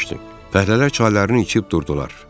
Fəhlələr çaylarını içib durdular.